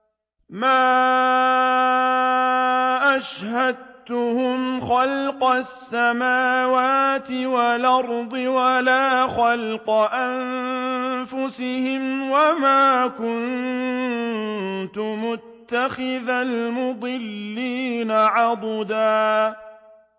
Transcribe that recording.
۞ مَّا أَشْهَدتُّهُمْ خَلْقَ السَّمَاوَاتِ وَالْأَرْضِ وَلَا خَلْقَ أَنفُسِهِمْ وَمَا كُنتُ مُتَّخِذَ الْمُضِلِّينَ عَضُدًا